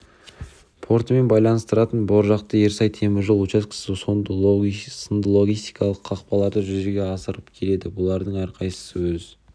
портымен байланыстыратын боржақты-ерсай темір жол учаскесі сынды логистикалық қақпаларды жүзеге асырып келеді бұлардың әрқайсысы өз